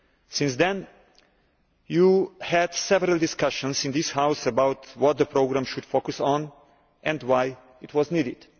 Since then, you have had several discussions in this House about what the programme should focus on and why it was needed.